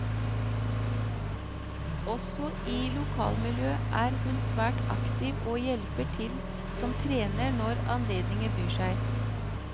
Også i lokalmiljøet er hun svært aktiv og hjelper til som trener når anledningen byr seg.